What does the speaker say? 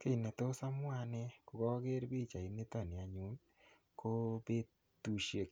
Kiy netos amwa anne kogager pichainito ni anyun ii ko petusiek